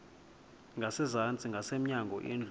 ngasezantsi ngasemnyango indlu